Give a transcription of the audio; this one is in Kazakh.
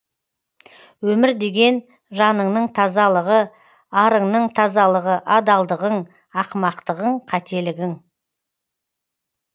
өмір деген жаныңның тазалығы арыңның тазалығы адалдығың ақымақтығың қателігің